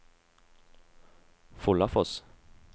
Follafoss